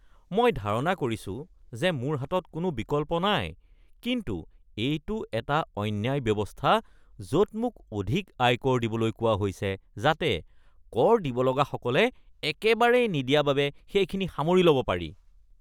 মই ধাৰণা কৰিছোঁ যে মোৰ হাতত কোনো বিকল্প নাই, কিন্তু এইটো এটা অন্যায় ব্যৱস্থা য'ত মোক অধিক আয়কৰ দিবলৈ কোৱা হৈছে যাতে কৰ দিব লগাসকলে একেবাৰেই নিদিয়া বাবে সেইখিনি সামৰি ল’ব পাৰি।